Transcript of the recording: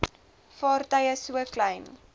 vaartuie so klein